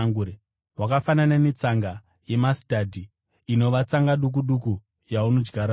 Hwakafanana netsanga yemasitadhi, inova tsanga duku duku yaunodyara muvhu.